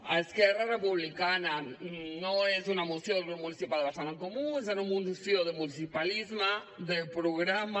a esquerra republicana no és una moció del grup municipal de barcelona en comú és una moció del municipalisme de programa